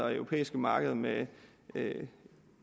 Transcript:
og europæiske markeder med med